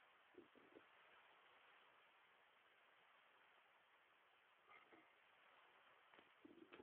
tenewoshi mikuntani ilkiek aitobiraki naa keishoru mazao kumok oleng